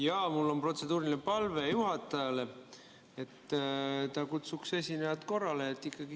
Jaa, mul on protseduuriline palve juhatajale, et ta kutsuks esinejat korrale.